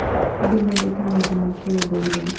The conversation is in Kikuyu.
Andũ mendete maũndũ ma kĩndũire.